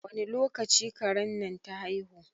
Wani lokaci karen nan ta haihu?